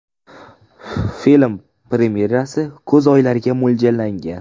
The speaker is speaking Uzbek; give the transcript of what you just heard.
Film premyerasi kuz oylariga mo‘ljallangan.